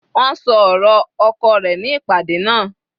Wọ́n ṣọ ọ̀rọ̀ oko rẹ̀ ní ìpàdé náà.